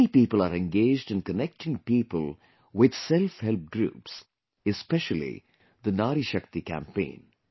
Many people are engaged in connecting people with Self Help Groups, especially the Nari Shakti campaign